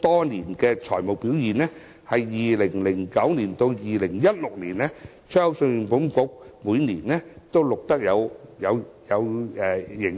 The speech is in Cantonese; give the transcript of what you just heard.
多年財務表現的紀錄顯示，信保局在2009年至2016年期間，每年也錄得盈餘。